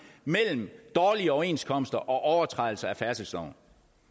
mellem dårlige overenskomster og overtrædelser af færdselsloven